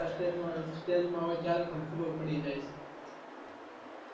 last stage માં હોય ત્યારે પણ ખબર પડી જાય